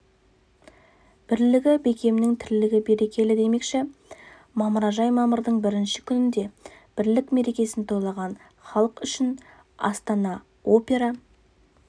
бірлігі бекемнің тірлігі берекелі демекші мамыражай мамырдың бірінші күнінде бірлік мерекесін тойлаған халық үшін астана опера